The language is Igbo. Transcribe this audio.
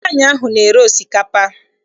Nwaanyị ahụ na-ere osikapa.